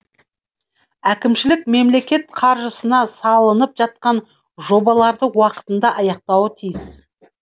әкімшілік мемлекет қаржысына салынып жатқан жобаларды уақытында аяқтауы тиіс